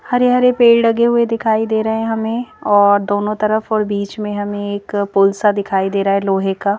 हरे-हरे पेड़ लगे हुए दिखाई दे रहे हैं हमें और दोनों तरफ और बीच में हमें एक पुल सा दिखाई दे रहा है लोहे का।